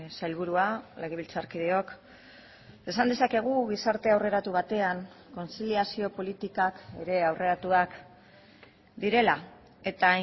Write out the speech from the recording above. sailburua legebiltzarkideok esan dezakegu gizarte aurreratu batean kontziliazio politikak ere aurreratuak direla eta